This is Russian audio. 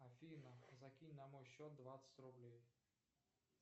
афина закинь на мой счет двадцать рублей